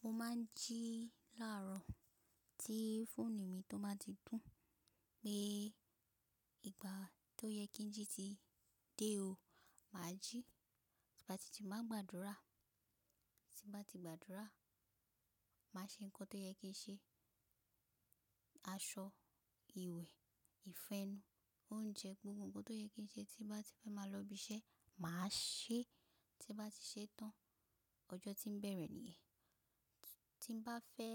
Mo ma n jí láàrọ̀, tí fóònù mi tó máa ti dún, pé ìgbà tó yẹ kí n jí ti dé o, mà á jí. Ti bá ji máa gbàdúrà, tí bá ti gbàdúrà, mà á ṣe nǹkan tó yẹ kí n ṣe, aṣọ, ìwẹ̀, ìfo ẹ́nu, oúnjẹ gbogbo nǹkan tó yẹ kí n ṣe tí bá ti fẹ́ máa lọ ibi iṣẹ́, mà á ṣe, tí bá ti ṣe tán, ọjọ́ tí ń bẹ̀rẹ̀ nìyẹn. Tí n bá fẹ́